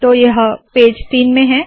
तो यह पेज तीन में है